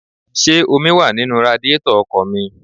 Ṣé omi wá nínú radíetọ̀ ọkọ̀ mi?